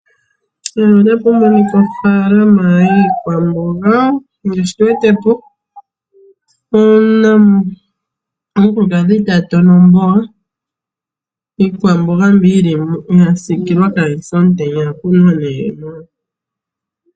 Mpaka otapu monika ofaalama yiikwamboga ngaashi tuwetepo omukulukadhi ta tona omboga iikwamboga mbi yilimo yasiikilwa kayise omutenya